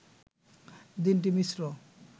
দিনটি মিশ্র